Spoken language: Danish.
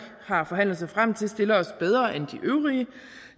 har forhandlet sig frem til stiller os bedre end de øvrige